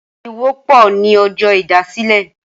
Ariwo pò ni ọjọ́ ìdásílẹ̀